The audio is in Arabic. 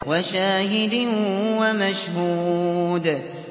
وَشَاهِدٍ وَمَشْهُودٍ